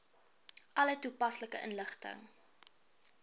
alle toepaslike inligting